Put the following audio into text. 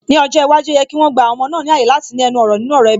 Ní ọjọ́ iwájú, ó yẹ kí wọn gba àwọn ọmọ náà ní ààyè láti ní ẹnu ọ̀rọ̀ nínú ọ̀rọ̀ ẹbí